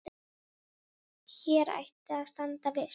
Hér ætti að standa viss.